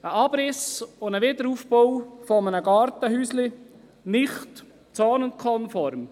Der Abriss und der Wiederaufbau eines Gartenhäuschens gelten als nicht zonenkonform.